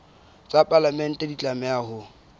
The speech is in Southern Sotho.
tsa palamente di tlameha ho